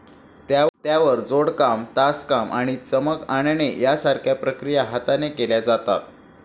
त्यावर जोडकाम, तासकाम आणि चमक आणणे यासारख्या प्रक्रिया हाताने केल्या जातात.